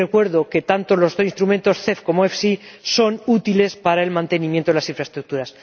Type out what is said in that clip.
Y recuerdo que, tanto los instrumentos CEF como FEIE, son útiles para el mantenimiento de las infraestructuras.